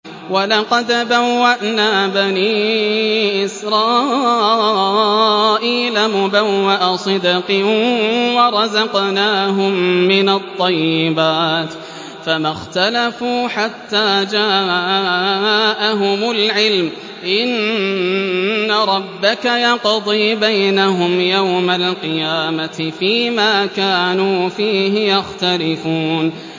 وَلَقَدْ بَوَّأْنَا بَنِي إِسْرَائِيلَ مُبَوَّأَ صِدْقٍ وَرَزَقْنَاهُم مِّنَ الطَّيِّبَاتِ فَمَا اخْتَلَفُوا حَتَّىٰ جَاءَهُمُ الْعِلْمُ ۚ إِنَّ رَبَّكَ يَقْضِي بَيْنَهُمْ يَوْمَ الْقِيَامَةِ فِيمَا كَانُوا فِيهِ يَخْتَلِفُونَ